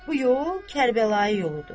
Bu yol Kərbəla yoludur.